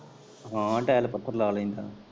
ਹਾਂ ਟੈਲ ਪੱਥਰ ਲਾ ਲੈਂਦਾ।